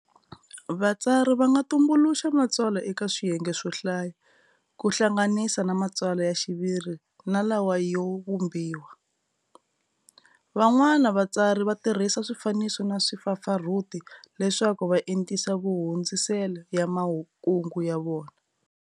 Vatsari vanga tumbuluxa matsalwa eka swiyenge swo hlaya, ku hlanganisa na matsalwa ya xiviri na lawa yo vhumbhiwa. Van'wana vatsari vatirhisa swifaniso na vupfapfarhuti leswaku va entisa mahundzisele ya makungu yavona.